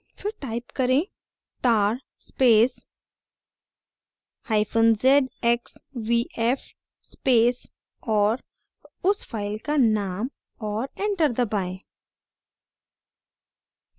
फिर type करें: tar spacezxvf space और उस file का name और enter दबाएं